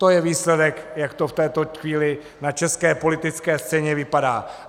To je výsledek, jak to v této chvíli na české politické scéně vypadá.